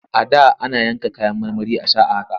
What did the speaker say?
A da ana yanka kayan marmari a sha a haka.